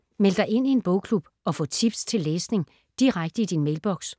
Meld dig ind i en bogklub og få tips til læsning direkte i din mailboks